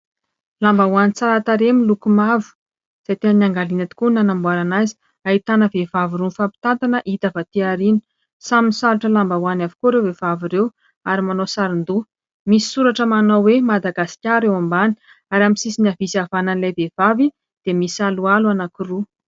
Lambahoany tsara tarehy miloko mavo izay tena amin'ny angadinay tokoa nanamboarana azy: ahitana vehivavy roa mifampitanana hita avy aty aoriana, samy misalotra lambahoany avokoa ireo vehivavy ireo ary manao saron-doha, misy soratra manao hoe Madagasikara eo ambany ary amin'ny sisiny havia sy havanana ilay vehivavy misy aloalo anankiroa.